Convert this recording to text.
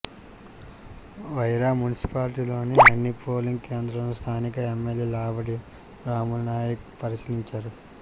వైరా మున్సిపాలిటీలోని అన్ని పోలింగ్ కేంద్రాలను స్థానిక ఎమ్మెల్యే లావుడ్యా రాములునాయక్ పరిశీలించారు